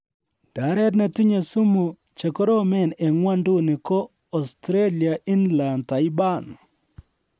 Ndaret netinye sumu chekoromen en ng'wonduni ko Austalia - Inland Taipan